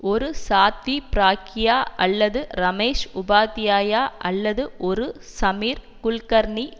ஒரு சாத்வி பிராக்யா அல்லது ரமேஷ் உபாத்யாயா அல்லது ஒரு சமீர் குல்கர்னி